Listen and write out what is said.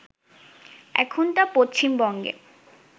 এখন তা পশ্চিমবঙ্গে